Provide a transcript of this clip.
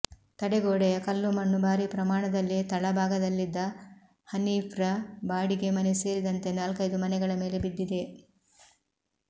ತಡೆಗೋಡೆಯ ಕಲ್ಲುಮಣ್ಣು ಭಾರೀ ಪ್ರಮಾಣದಲ್ಲಿ ತಳಭಾಗದಲ್ಲಿದ್ದ ಹನೀಫ್ರ ಬಾಡಿಗೆ ಮನೆ ಸೇರಿದಂತೆ ನಾಲ್ಕೈದು ಮನೆಗಳ ಮೇಲೆ ಬಿದ್ದಿದೆ